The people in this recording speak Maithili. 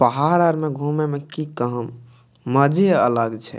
पहाड़ आर में घूमे में की काम मजे अलग छै।